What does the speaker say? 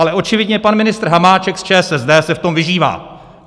Ale očividně pan ministr Hamáček z ČSSD se v tom vyžívá.